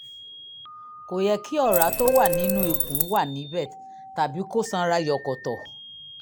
kò yẹ kí ọ̀rá tó wà nínú ikùn wà níbẹ̀ tàbí kó sanra jọ̀kọ̀tọ̀